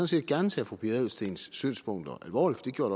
set gerne tage fru pia adelsteens synspunkter alvorligt det gjorde